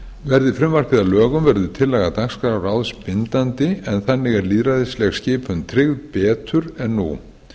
verði frumvarpið að lögum verður tillaga dagskrárráðs bindandi en þannig er lýðræðisleg skipun tryggð betur en nú